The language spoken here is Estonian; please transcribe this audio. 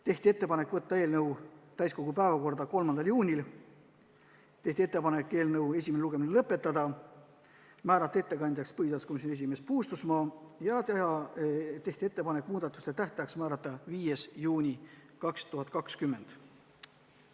Tehti ettepanek võtta eelnõu täiskogu päevakorda 3. juuniks, eelnõu esimene lugemine lõpetada, määrata ettekandjaks põhiseaduskomisjoni esimees Puustusmaa ja muudatuste esitamise tähtajaks määrata 5. juuni 2020.